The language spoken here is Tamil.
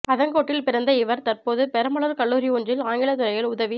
அதங்கோட்டில் பிறந்த இவர் தற்போது பெரம்பலூர்க் கல்லூரி ஒன்றில் ஆங்கிலத்துறையில் உதவிப்